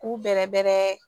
K'u bɛrɛbɛrɛ